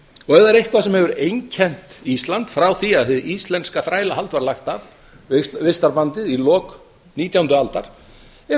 og ef það er eitthvað sem hefur einkennt ísland frá því að hið íslenska þrælahald var lagt af vistarbandið í lok nítjándu aldar eru